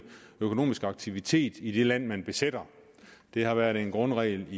økonomisk aktivitet i det land man besætter det har været en grundregel